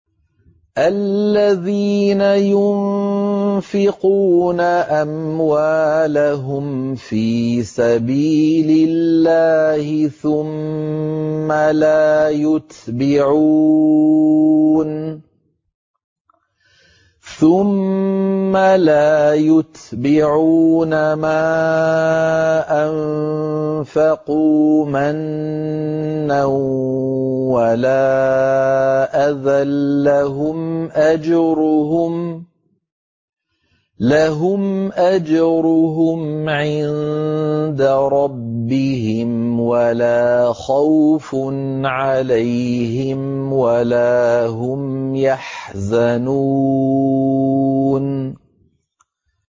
الَّذِينَ يُنفِقُونَ أَمْوَالَهُمْ فِي سَبِيلِ اللَّهِ ثُمَّ لَا يُتْبِعُونَ مَا أَنفَقُوا مَنًّا وَلَا أَذًى ۙ لَّهُمْ أَجْرُهُمْ عِندَ رَبِّهِمْ وَلَا خَوْفٌ عَلَيْهِمْ وَلَا هُمْ يَحْزَنُونَ